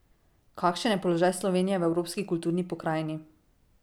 Kakšen je položaj Slovenije v evropski kulturni pokrajini?